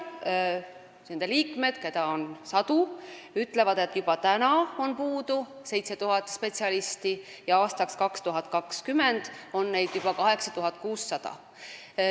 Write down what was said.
Need liikmed, keda on sadu, on öelnud, et juba nüüd on puudu 7000 spetsialisti ja aastaks 2020 on neid puudu 8600.